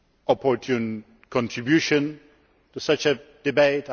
an opportune contribution to such a debate.